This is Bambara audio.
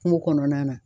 Kungo kɔnɔna na